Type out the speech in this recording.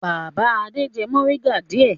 Bàbá Adé jẹ mòríngà díẹ̀.